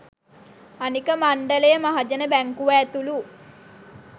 අනික මණ්ඩලය මහජන බැංකුව ඇතුළු